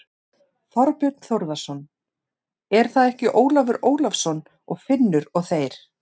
Þorbjörn Þórðarson: Er það ekki Ólafur Ólafsson og Finnur og þeir?